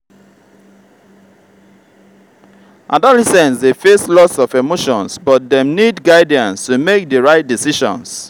adolescents dey face lots of emotions but dem need guidance to make the right decisions.